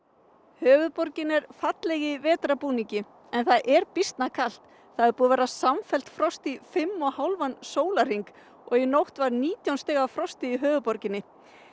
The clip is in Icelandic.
höfuðborgin er falleg í vetrarbúningi en það er býsna kalt það er búið að vera samfellt frost í fimm og hálfan sólarhring og í nótt var nítján stiga frost í höfuðborginni